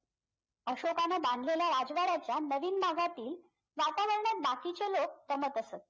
अशोकाने बांधलेल्या राजवाड्याच्या नवीन भागातील वातावरणात बाकीचे लोक असत